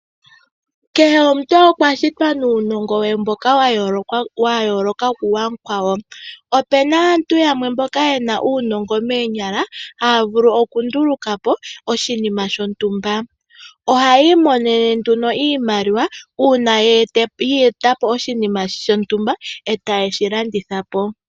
Kehe omuntu okwa shitwa nuunongo we mboka wa yooloka kuwa mu kwawo. Opuna aantu mboka yena uunongo moonyala ohaya vulu oku ndulu ka po oshinima shontumba. Ohayi imonene nduno oshimaliwa uuna ya eta po oshinima shontumba etayi shi landitha po.